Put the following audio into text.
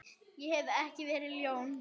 Ég hef ekki verið ljón.